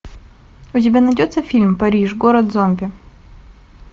у тебя найдется фильм париж город зомби